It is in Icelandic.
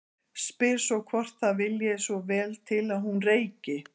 Spyr svo hvort það vilji svo vel til að hún reyki.